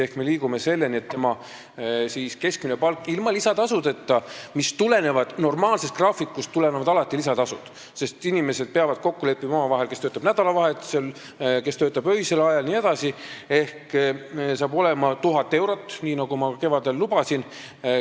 Ehk me liigume selleni, et keskmine palk ilma lisatasudeta – normaalsest graafikust tulenevad alati ka lisatasud, sest inimesed peavad omavahel kokku leppima, kes töötab nädalavahetusel, kes töötab öisel ajal jne – hakkab olema 1000 eurot, nii nagu ma ka kevadel lubasin.